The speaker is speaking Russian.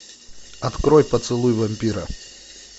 открой поцелуй вампира